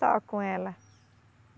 Só com ela.